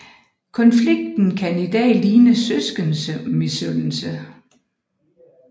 Konflikten kan i dag ligne søskendemisundelse